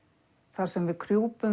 þar sem við